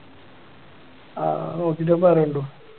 ആഹ് നോക്കീട്ട് പറയെടോ